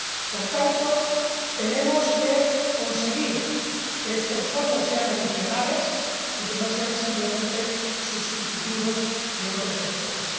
Por tanto, tenemos que conseguir que estos fondos sean adicionales y que no sean simplemente sustitutivos de otros esfuerzos.